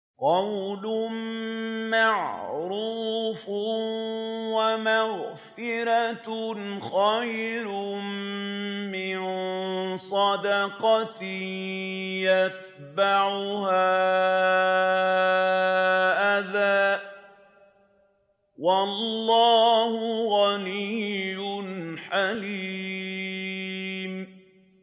۞ قَوْلٌ مَّعْرُوفٌ وَمَغْفِرَةٌ خَيْرٌ مِّن صَدَقَةٍ يَتْبَعُهَا أَذًى ۗ وَاللَّهُ غَنِيٌّ حَلِيمٌ